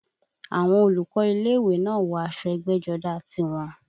Àwọn olùkọ́ ilé ìwé náà wọ aṣọ ẹgbẹ́jọdá tiwọn